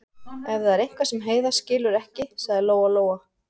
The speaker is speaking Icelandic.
Ef það er eitthvað fleira sem Heiða skilur ekki, sagði Lóa-Lóa.